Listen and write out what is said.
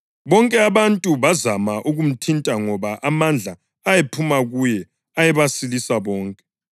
bonke abantu bazama ukumthinta ngoba amandla ayephuma kuye ayebasilisa bonke.